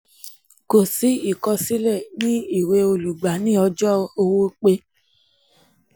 kò sí ìkọsílẹ̀ ní ìwé olùgbà ní ọjọ́ owó pé